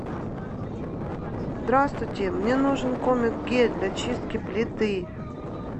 здравствуйте мне нужен комет гель для чистки плиты